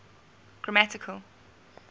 grammatical